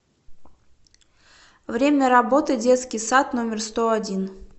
время работы детский сад номер сто один